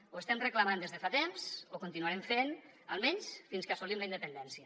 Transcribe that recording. ho estem reclamant des de fa temps ho continuarem fent almenys fins que assolim la independència